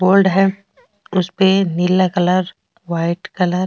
board है उसपे नीला कलर वाइट कलर --